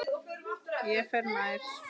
Ég fer nær.